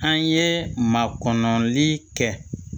An ye makɔnɔli kɛ